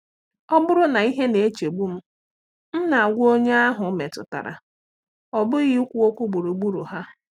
Ọ bụrụ na ihe na-echegbu m, m na-agwa onye ahụ metụtara, ọ bụghị ikwu okwu gburugburu ha.